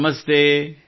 ನಮಸ್ತೆ |